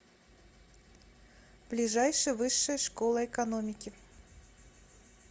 ближайший высшая школа экономики